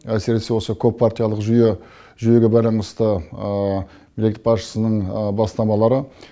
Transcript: әсіресе осы көп партиялық жүйеге байланысты мемлекет басшысының бастамалары